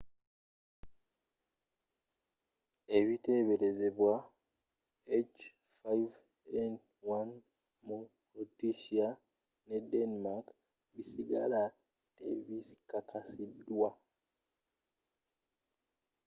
ebiteberezebwa h5n1 mu croatia ne denmark bisigala tebikakasidwa